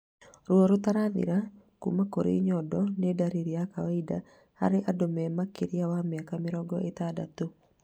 Ruo rũtarathira kuma kũrĩ thundo nĩ ndariri ya kawaida harĩ andũ me makĩria ma mĩaka mĩrongo ĩtandatũ